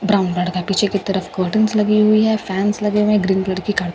brown लड़का है पीछे की तरफ कर्टन्‍स लगे हुए हैं फैंस लगे हुए हैं ग्रीन लड़की खड़ी--